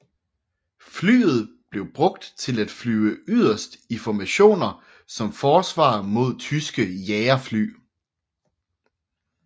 Flyet blev brugt til at flyve yderst i formationer som forsvar mod tyske jagerfly